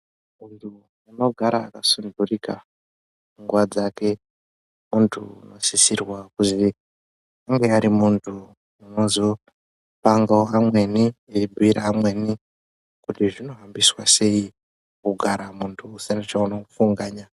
Muntu unogara akasunturika nguwa dzake muntu unosisirwa kuzi unge ari muntu unozopangawo amweni eibhuira amweni kuti zvinohambiswa sei kugara muntu usina chaunofunganya.